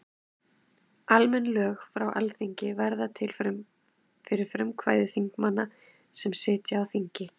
Almenn lög frá Alþingi verða til fyrir frumkvæði þingmanna sem sitja á þingi.